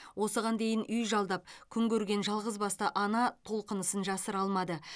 осыған дейін үй жалдап күн көрген жалғызбасты ана толқынысын жасыра алмады